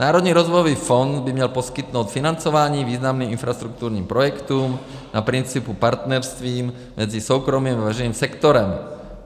Národní rozvojový fond by měl poskytnout financování významným infrastrukturálním projektům na principu partnerství mezi soukromým a veřejným sektorem.